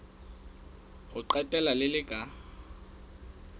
ho qetela le le ka